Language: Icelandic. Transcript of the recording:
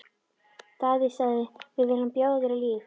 Daði sagði: Við viljum bjóða þér líf!